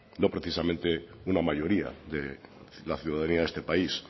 no precisamente una mayoría de la ciudadanía de este país